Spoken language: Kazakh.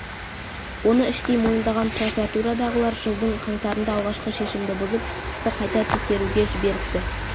оны іштей мойындаған прокуратурадағылар жылдың қаңтарында алғашқы шешімді бұзып істі қайта текеруге жіберіпті